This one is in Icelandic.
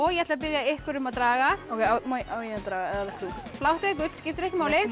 ég ætla að biðja ykkur um að draga á ég að draga eða vilt þú blátt eða gult skiptir ekki máli þú